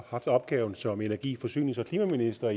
haft opgaven som energi forsynings og klimaminister